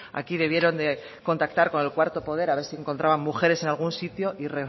aquí debieron de contactar con el cuarto poder a ver si encontraban mujeres en algún sitio y